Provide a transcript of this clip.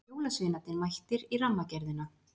Jólasveinarnir mættir í Rammagerðina